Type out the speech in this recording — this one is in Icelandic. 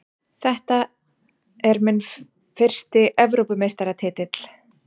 Þetta er minn fyrsti Evrópumeistaratitill.